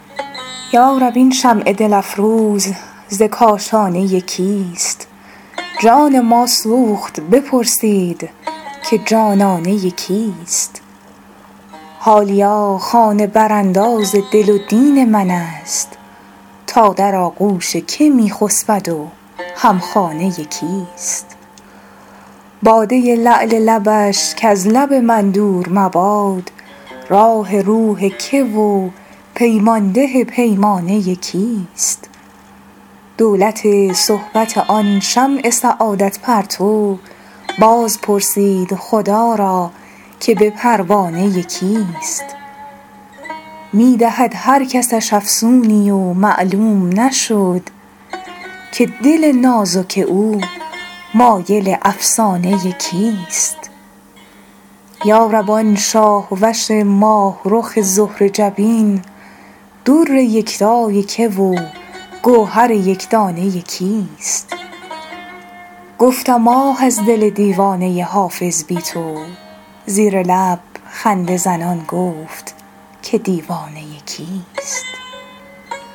یا رب این شمع دل افروز ز کاشانه کیست جان ما سوخت بپرسید که جانانه کیست حالیا خانه برانداز دل و دین من است تا در آغوش که می خسبد و هم خانه کیست باده لعل لبش کز لب من دور مباد راح روح که و پیمان ده پیمانه کیست دولت صحبت آن شمع سعادت پرتو باز پرسید خدا را که به پروانه کیست می دهد هر کسش افسونی و معلوم نشد که دل نازک او مایل افسانه کیست یا رب آن شاه وش ماه رخ زهره جبین در یکتای که و گوهر یک دانه کیست گفتم آه از دل دیوانه حافظ بی تو زیر لب خنده زنان گفت که دیوانه کیست